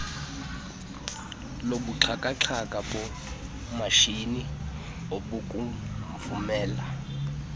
lobuxhakaxhaka bomatshini obukuvumela